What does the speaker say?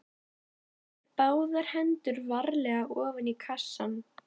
Hann setur báðar hendur varlega ofan í kassann.